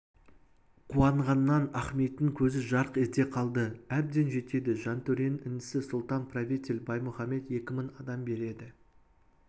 қуанғаннан ахметтің көзі жарқ ете қалды әбден жетеді жантөренің інісі сұлтан-правитель баймұхамед екі мың адам береді